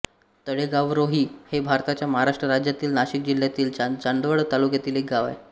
तळेगावरोही हे भारताच्या महाराष्ट्र राज्यातील नाशिक जिल्ह्यातील चांदवड तालुक्यातील एक गाव आहे